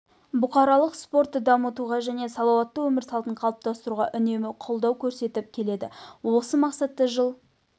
бұқаралық спортты дамытуға және салауатты өмір салтын қалыптастыруға үнемі қолдау көрсетіп келеді осы мақсатта жыл